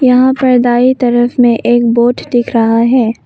यहां पर बाई तरफ में एक बोट दिख रहा है।